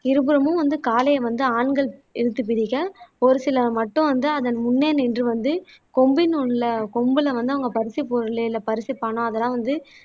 இருபுறமும் வந்து காளையை வந்து ஆண்கள் இழுத்து பிடிக்க ஒரு சிலர் மட்டும் வந்து அதன் முன்னே நின்று வந்து கொம்பினு உள்ள கொம்புல வந்து அவங்க பரிசுப் பொருளு இல்லை பரிசுப் பணம் அதெல்லாம் வந்து